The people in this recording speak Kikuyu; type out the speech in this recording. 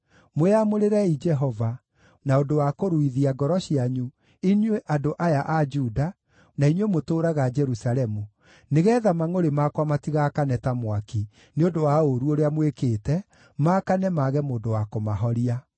Mwĩamũrĩrei Jehova, na ũndũ wa kũruithia ngoro cianyu inyuĩ andũ aya a Juda, na inyuĩ mũtũũraga Jerusalemu, nĩgeetha mangʼũrĩ makwa matigaakane ta mwaki, nĩ ũndũ wa ũũru ũrĩa mwĩkĩte, maakane mage mũndũ wa kũmahoria.